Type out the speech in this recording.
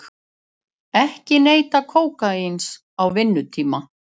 Ekki neyta kókaíns á vinnutíma